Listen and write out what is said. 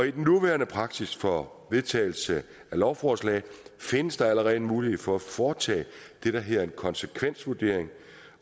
i den nuværende praksis for vedtagelse af lovforslag findes der allerede en mulighed for at foretage det der hedder en konsekvensvurdering